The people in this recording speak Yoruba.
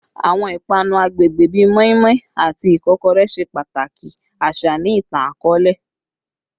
Awọn ipanu agbegbe bi moninmonin ati ikokore ṣe pataki aṣa ni itan-akọọlẹ